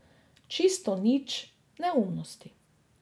Čisto nič, neumnosti.